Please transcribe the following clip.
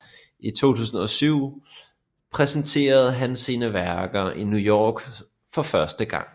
I 2007 præsenterede han sine værker i New York for første gang